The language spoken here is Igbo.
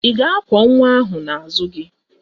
Ị ga-akwọ nwa ahụ n'azụ gị?